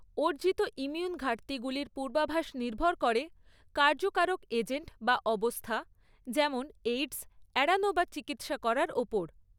অর্জিত ইমিউন ঘাটতিগুলির পূর্বাভাস নির্ভর করে কার্যকারক এজেন্ট বা অবস্থা যেমন এইডস এড়ানো বা চিকিৎসা করার ওপর।